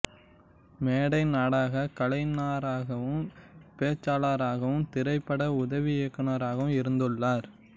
மேடை நாடகக் கலைஞராகவும் பேச்சாளராகவும் திரைப்பட உதவி இயக்குனராகவும் இருந்துள்ளார்